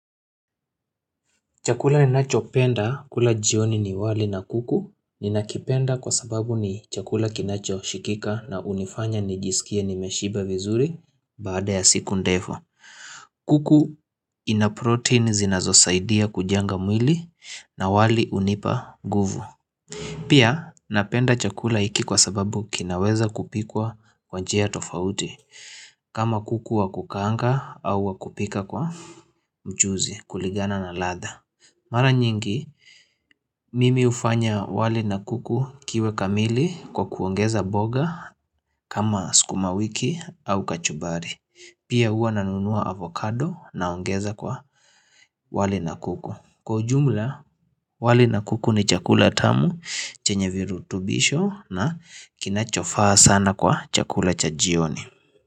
Chakula ninacho penda kula jioni ni wali na kuku Ninakipenda kwa sababu ni chakula kinacho shikika na hunifanya nijisikie nimeshiba vizuri Baada ya siku ndefu kuku ina protein zinazosaidia kujanga mwili na wali unipa guvu Pia napenda chakula hiki kwa sababu kinaweza kupikwa kwa njia tofauti kama kuku wa kukaanga au wa kupika kwa mchuzi kulingana na ladha Mara nyingi mimi hufanya wali na kuku kiwe kamili kwa kuongeza boga kama sukumawiki au kachumbari Pia huwa nanunua avocado naongeza kwa wali na kuku Kwa ujumla wali na kuku ni chakula tamu chenye virutubisho na kinachofaa sana kwa chakula cha jioni.